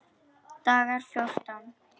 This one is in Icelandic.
Dagar fjórtán